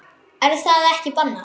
Er það ekki bannað?